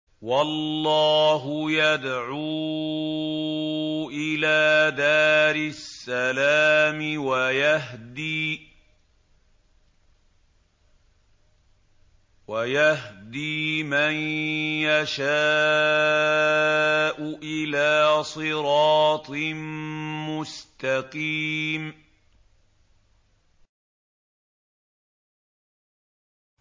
وَاللَّهُ يَدْعُو إِلَىٰ دَارِ السَّلَامِ وَيَهْدِي مَن يَشَاءُ إِلَىٰ صِرَاطٍ مُّسْتَقِيمٍ